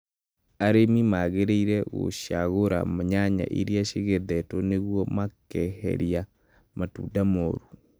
Arĩmi magĩrĩirũo gũcagũra nyanya iria cigethetwo nĩguo makeheria matunda moru.